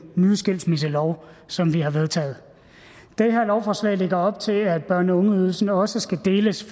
nye skilsmisselov som vi har vedtaget det her lovforslag lægger op til at børne og ungeydelsen også skal deles